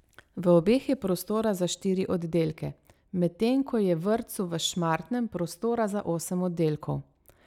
V obeh je prostora za štiri oddelke, medtem ko je vrtcu v Šmartnem prostora za osem oddelkov.